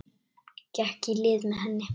Gekk í lið með henni.